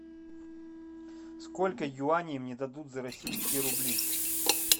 сколько юаней мне дадут за российские рубли